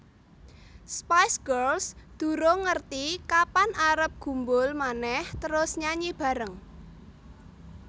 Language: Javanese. Spice Girls durung ngerti kapan arep gumbul maneh terus nyanyi bareng